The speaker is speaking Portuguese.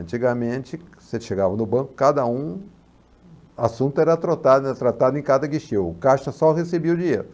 Antigamente, você chegava no banco, cada um, o assunto era tratado era tratado em cada guichê, o caixa só recebia o dinheiro.